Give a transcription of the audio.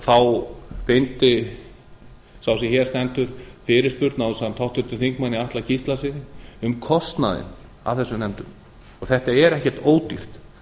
beindi sá sem hér stendur fyrirspurn ásamt háttvirtum þingmanni atla gíslasyni um kostnaðinn af þessum nefndum þetta er ekki ódýrt